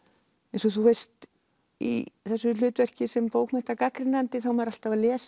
eins og þú veist í þessu hlutverki sem bókmenntagagnrýnandi er maður alltaf að lesa